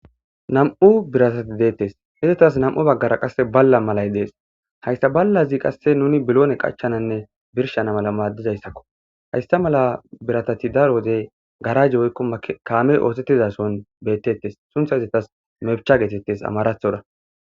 Nam7u biratati deettes hizetas nam7u baggara qasse balla malay dees hayssa ballazi qasse nuni biloone qachchananne birshana mala maaddizayssakko haysa mala biratati daro odey garaje woykko kaamey oosettizason bettettes suntha hizetas mebcha geetettes amarathora.